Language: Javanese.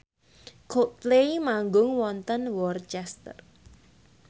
Coldplay manggung wonten Worcester